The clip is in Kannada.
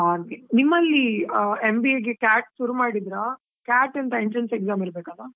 ಹಾಗೆ, ನಿಮ್ಮಲ್ಲಿ MBA ಗೆ CAT ಶುರು ಮಾಡಿದ್ರಾ? CAT ಅಂತ entrance exam ಇರ್ಬೇಕಲ್ಲಾ?